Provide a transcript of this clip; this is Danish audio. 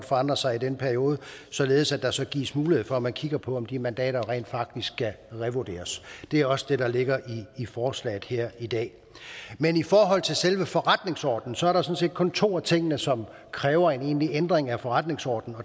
forandret sig i den periode således at der skal gives mulighed for at man kigger på om de mandater rent faktisk skal revurderes det er også det der ligger i forslaget her i dag men i forhold til selve forretningsordenen sådan set kun to af tingene som kræver en egentlig ændring af forretningsordenen